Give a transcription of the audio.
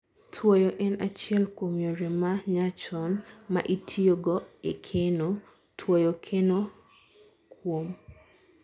tuoyo en achiel kuom yore ma nyachon ma itio go ekeno. Tuoyo keno kuom